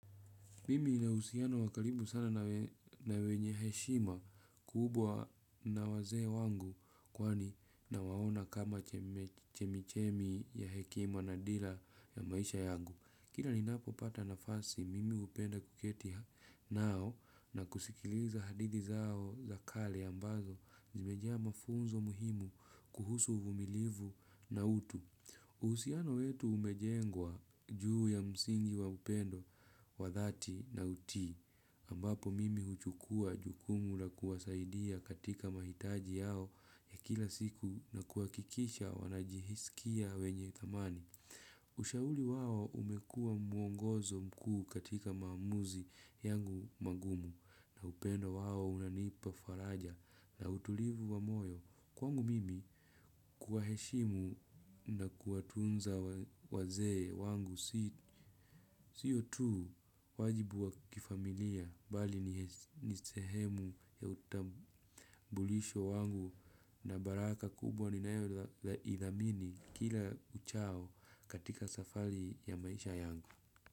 Mimi nina uhusiano wa karibu sana na wenye heshima kubwa na wazee wangu kwani nawaona kama chemichemi ya hekima na dira ya maisha yangu. Kila ninapopata nafasi, mimi hupenda kuketi nao na kusikiliza hadithi zao za kale ambazo zimejaa mafunzo muhimu kuhusu uvumilivu na utu. Uhusiano wetu umejengwa juu ya msingi wa upendo, wa dhati na utii, ambapo mimi huchukua jukumu la kuwasaidia katika mahitaji yao ya kila siku na kuhakikisha wanajisikia wenye thamani. Ushauri wao umekuwa muongozo mkuu katika maamuzi yangu magumu na upendo wao unanipa faraja na utulivu wa moyo kwangu mimi kuwaheshimu na kuwatunza wazee wangu siyo tu wajibu wa kifamilia bali ni sehemu ya utambulisho wangu na baraka kubwa ni nayo ithamini kila uchao katika safari. Ya maisha yangu.